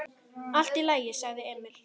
Allt í lagi, sagði Emil.